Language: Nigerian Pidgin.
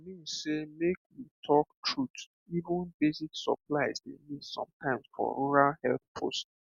i mean sey make we talk truth even basic supplies dey miss sometimes for rural health post